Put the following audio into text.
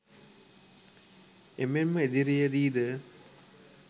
එමෙන්ම ඉදිරියේදී ද